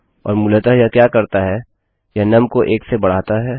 और मूलतः यह क्या करता है यह नुम को 1 से बढाता है